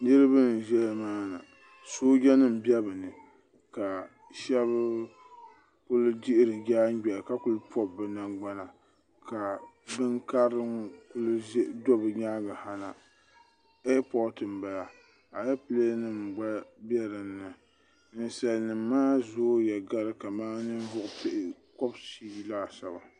niraba n ʒɛya maana sooja nim bɛ bi ni ka shab ku dihiri daangbɛri ka kuli pobi bi nangbana ka bin karili n ku do bi nyaanga eer pooti n bala alɛpilɛ nim gba bɛ dinni ninsal nim maa zooya gari kamani ninvuɣu pia kobshii laasabu